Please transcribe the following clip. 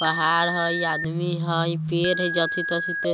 पहाड़ हई आदमी हई पेड़ हई जथि तथी ते --